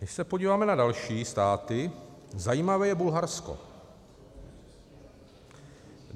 Když se podíváme na další státy, zajímavé je Bulharsko.